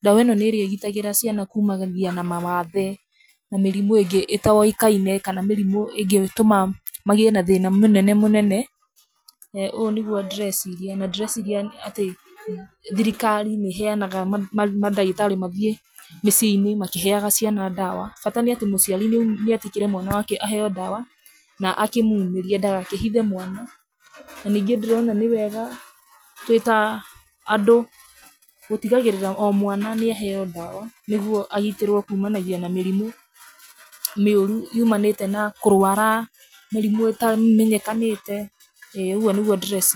Ndawa ĩno nĩ ĩrĩa ĩgitagĩra ciana kuumana na mawathe na mĩrimũ ĩngĩ ĩtoĩkaine kana mĩrimũ ĩngĩtũma magĩe na thĩna mũnene mũnene, ũũ nĩguo ndĩreeciria. Na ndĩreeciria atĩ thirikari nĩ ĩheanaga mandagĩtarĩ mathiĩ mĩciĩ-ini makĩheaga ciana ndawa, bata nĩ atĩ mũciari nĩ nĩ etĩkĩre mwana wake aheo ndawa na akĩmuumĩrie ndagakĩhithe mwana. Na ningĩ ndĩrona nĩ wega twĩ ta andũ gũtigagĩrĩra o mwana nĩ aheo ndawa nĩguo agitĩrwo kuumanagia na mĩrimũ mĩũru yumanĩte na kũrũara, mĩrimũ ĩtamenyekanĩte, ĩ, ũguo nĩguo ndĩreeciria.